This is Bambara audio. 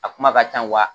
A kuma ka can wa